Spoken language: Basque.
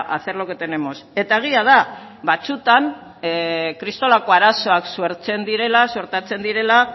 hacer lo que tenemos eta egia da batzuetan kristolako arazoak sortzen direla suertatzen direla